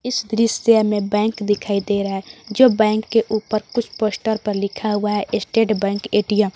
इस दृश्य में बैंक दिखाई दे रहा है जो बैंक के ऊपर कुछ पोस्टर पर लिखा हुआ है स्टेट बैंक ए_टी_एम ।